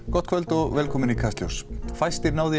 gott kvöld og velkomin í Kastljós fæstir ná því